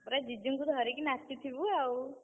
ପୁରା जीजु ଙ୍କୁ ଧରିକି ନାଚିଥିବୁ ଆଉ।